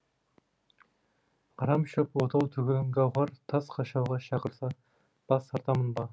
арам шөп отау түгіл гауһар тас қашауға шақырса бас тартармын ба